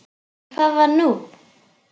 En hvað var nú?